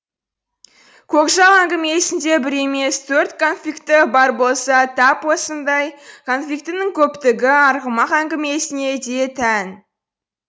көкжал әңгімесінде бір емес төрт конфликті бар болса тап осындай конфликтінің көптігі арғымақ әңгімесіне де тән